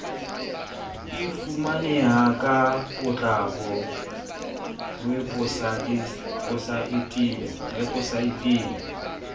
e fumaneha ka potlako weposaeteng